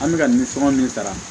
An bɛ ka nimisɔn min sara